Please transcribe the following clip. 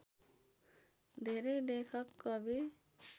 धेरै लेखक कवि